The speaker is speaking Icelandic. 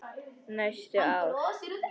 Næstu ár.